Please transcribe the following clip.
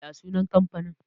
ya sunan kamfanin?